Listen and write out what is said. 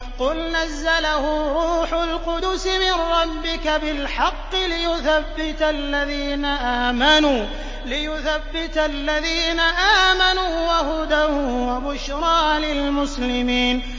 قُلْ نَزَّلَهُ رُوحُ الْقُدُسِ مِن رَّبِّكَ بِالْحَقِّ لِيُثَبِّتَ الَّذِينَ آمَنُوا وَهُدًى وَبُشْرَىٰ لِلْمُسْلِمِينَ